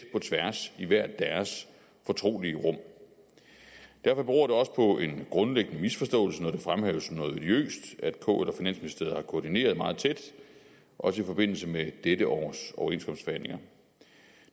på tværs i hvert deres fortrolige rum derfor beror det også på en grundlæggende misforståelse når det fremhæves som noget odiøst at kl og finansministeriet har koordineret meget tæt også i forbindelse med dette års overenskomstforhandlinger